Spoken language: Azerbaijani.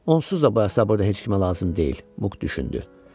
Onsuz da bu əsa burada heç kimə lazım deyil, Muk düşündü.